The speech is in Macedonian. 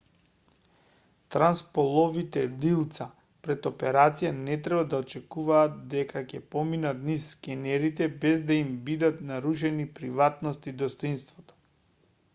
трансполовите лилца пред операција не треба да очекуваат дека ќе поминат низ скенерите без да им бидат нарушени приватноста и достоинството